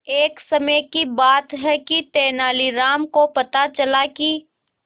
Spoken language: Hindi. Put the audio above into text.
एक समय की बात है कि तेनालीराम को पता चला कि